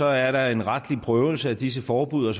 er der en retlig prøvelse af disse forbud og